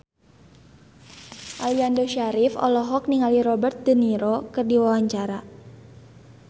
Aliando Syarif olohok ningali Robert de Niro keur diwawancara